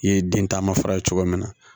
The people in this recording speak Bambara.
I ye den taama fura ye cogo min na